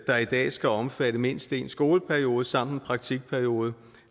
der i dag skal omfatte mindst én skoleperiode sammen praktikperiode